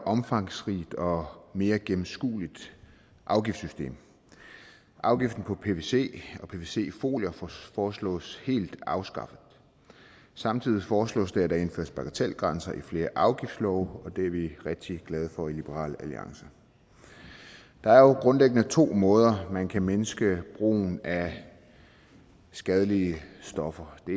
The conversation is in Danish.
omfangsrigt og mere gennemskueligt afgiftssystem afgiften på pvc og pvc folier foreslås helt afskaffet samtidig foreslås det at der indføres bagatelgrænser i flere afgiftslove det er vi rigtig glade for i liberal alliance der er jo grundlæggende to måder man kan mindske brugen af skadelige stoffer på